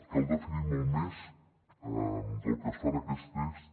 cal definir molt més que el que es fa en aquest text